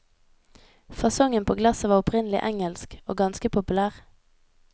Fasongen på glasset var opprinnelig engelsk, og ganske populær.